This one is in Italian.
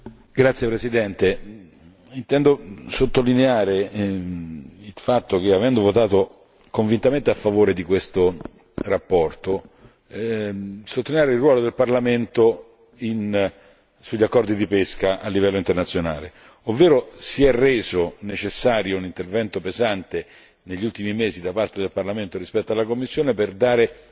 Signor Presidente, onorevoli colleghi, avendo votato convintamente a favore di questa relazione, intendo sottolineare il ruolo del Parlamento sugli accordi di pesca a livello internazionale, ovvero si è reso necessario un intervento pesante negli ultimi mesi da parte del Parlamento rispetto alla Commissione per dare